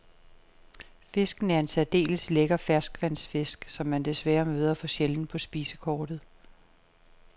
Fisken er en særdeles lækker ferskvandsfisk, som man desværre møder for sjældent på spisekortet.